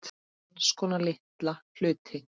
Alls konar litla hluti.